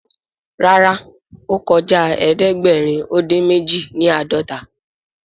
Ràrá o kọjá ẹdẹgbẹrin odin méjì ni ãdọta